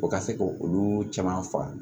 O ka se k'olu caman faga